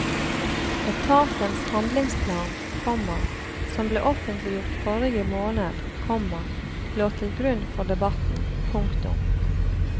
Etatens handlingsplan, komma som ble offentliggjort forrige måned, komma lå til grunn for debatten. punktum